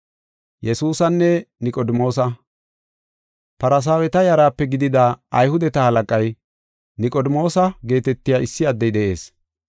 Farsaaweta yaraape gidida, Ayhudeta halaqay, Niqodimoosa geetetiya issi addey de7ees.